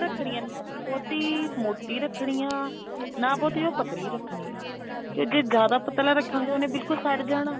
ਰੱਖਣੀ ਆ ਨਾ ਬਹੁਤੀ ਮੋਟੀ ਰੱਖਣੀ ਆ ਨਾ ਬਹੁਤੀ ਜਿਆਦਾ ਪਤਲੀ ਰੱਖਣੀ ਆ ਤੇ ਜੇ ਜਿਆਦਾ ਪਤਲਾ ਰੱਖਾਗੇ ਉਹਨੇ ਬਿਲਕੁੱਲ ਸੜ ਜਾਣਾ